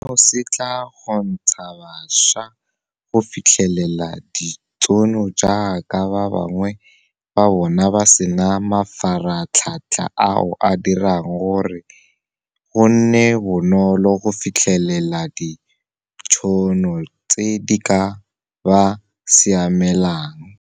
Seno se tla kgontsha bašwa go fitlhelela ditšhono jaaka ba bangwe ba bona ba sena mafaratlhatlha ao a dirang gore go nne bonolo go fitlhelelela ditšhono tse di ka ba siamelang.